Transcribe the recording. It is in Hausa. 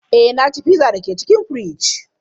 Ee, na ci pizza da ke cikin firiji.